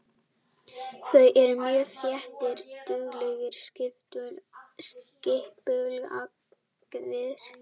Þeir eru mjög þéttir, duglegir og skipulagðir.